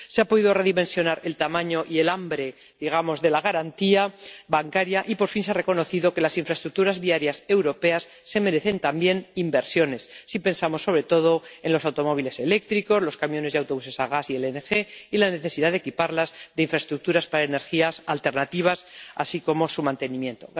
Se ha podido redimensionar el tamaño y el hambre —digamos— de la garantía bancaria y, por fin, se ha reconocido que las infraestructuras viarias europeas se merecen también inversiones —si pensamos sobre todo en los automóviles eléctricos, los camiones y autobuses a gas y a GNL—, que es necesario equiparlas de infraestructuras para energías alternativas y que precisan mantenimiento.